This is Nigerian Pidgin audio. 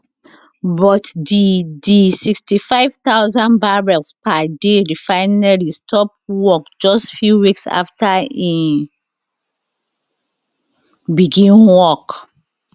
but di di 65000 barrels per day refinery stop work just few weeks afta e begin work